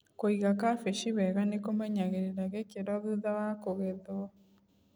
Kũiga kabeci wega nĩkũmenyagĩrĩra gĩkĩro thutha wa kũgethwo.